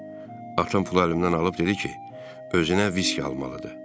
Atam pulu əlimdən alıb dedi ki, özünə viski almalıdır.